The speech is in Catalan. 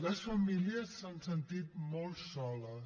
les famílies s’han sentit molt soles